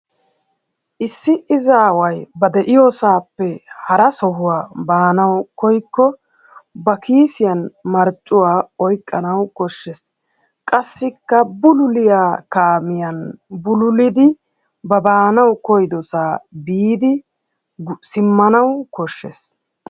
issi izzzawu ba de'iyoosaappe hara sohuwa baaanawu koyikko ba kiisiyan marccuwa oykkanawu koshshees. Qassikka bullulliya kaamiyan bulullidi ba baanawu koyidosaa biidi simmanawu koshshees.